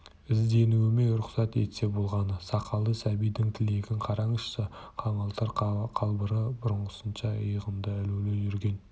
ізденуіме рұқсат етсе болғаны сақалды сәбидің тілегін қараңызшы қаңылтыр қалбыры бұрынғысынша иығында ілулі жүрген